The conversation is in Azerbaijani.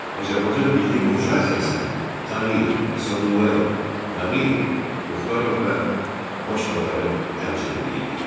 Azərbaycan milli burjuaziyasını Tağıyev, Əsədullayev, Nağıyev, Muxtarov və başqaları təmsil edirdilər.